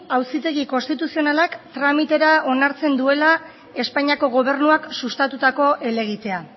auzitegi konstituzionalak tramitera onartzen duela espainiako gobernuak sustatutako helegitea